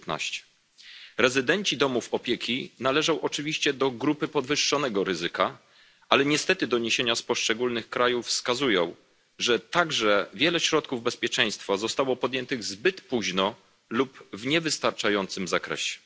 19. Rezydenci domów opieki należą oczywiście do grupy podwyższonego ryzyka, ale niestety doniesienia z poszczególnych krajów wskazują, że także wiele środków bezpieczeństwa zostało podjętych zbyt późno lub w niewystarczającym zakresie.